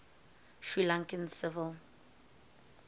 sri lankan civil